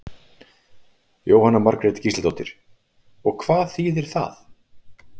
Jóhanna Margrét Gísladóttir: Og hvað þýðir það?